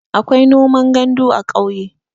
akwai noman gandu a ƙauye